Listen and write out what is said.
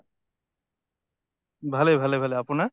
ভালে ভালে ভালে, আপোনাৰ?